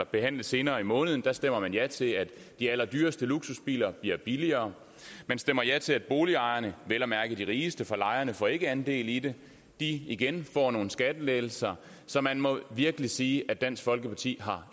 behandle senere i måneden stemmer man ja til at de allerdyreste luksusbiler bliver billigere man stemmer ja til at boligejerne vel at mærke de rigeste for lejerne får ikke andel i det igen får nogle skattelettelser så man må virkelig sige at dansk folkeparti